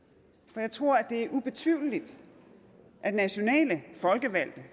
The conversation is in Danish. for jeg tror at det er ubetvivleligt at nationale folkevalgte